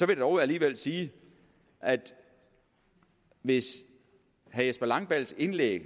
vil dog alligevel sige at hvis herre jesper langballes indlæg